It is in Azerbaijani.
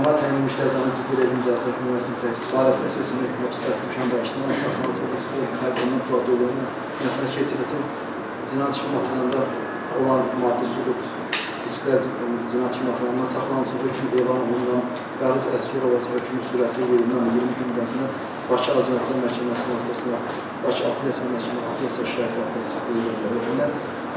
Ona təyin edilmiş cəzanın ciddi rejim cəzaçəkmə müəssisəsində çəkilməsi, həmçinin seçilmiş həbs qətimkan tədbirinin həbsdə saxlanılması, cinayət işi materialında olan maddi sübutların cinayət işi materialından saxlanılması, hökm elan olunanından Bəhruz Əsgərova hökm sürəti 20 gündən 20 gün müddətinə Bakı Apellyasiya Məhkəməsinə, Bakı Apellyasiya Məhkəməsinin Apellyasiya şikayəti, Apellyasiya şöbəsinə protest verilə bilər.